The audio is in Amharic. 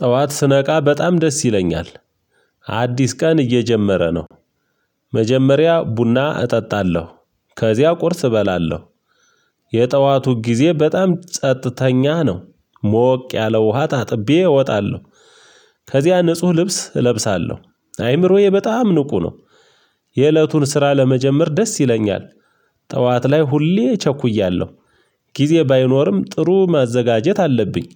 ጠዋት ስነቃ በጣም ደስ ይለኛል። አዲስ ቀን እየጀመረ ነው። መጀመሪያ ቡና እጠጣለሁ ከዚያ ቁርስ እበላለሁ። የጠዋቱ ጊዜ በጣም ጸጥተኛ ነው። ሞቅ ያለ ውሃ ታጥቤ እወጣለሁ። ከዚያ ንጹህ ልብስ እለብሳለሁ አይምሮዬ በጣም ንቁ ነው። የእለቱን ስራ ለመጀመር ደስ ይለኛል። ጠዋት ላይ ሁሌ ቸኩያለሁ ጊዜ ባይኖርም ጥሩ ማዘጋጀት አለብኝ።